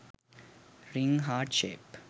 ring heart shape